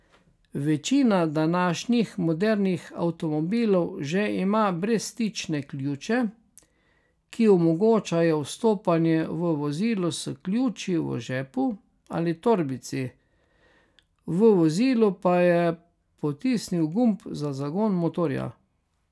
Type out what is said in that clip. Večina današnjih modernih avtomobilov že ima brezstične ključe, ki omogočajo vstopanje v vozilo s ključi v žepu ali torbici, v vozilu pa je potisni gumb za zagon motorja.